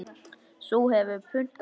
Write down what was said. Sú hefur puntað sig!